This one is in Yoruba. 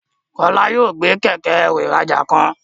Kola yóò gbé Kẹ̀kẹ́-ẹrù ìrajà kan.